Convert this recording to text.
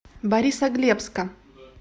борисоглебска